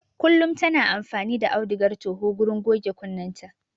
Kullum ta na amfani da auduga toho wurin goge kunnenta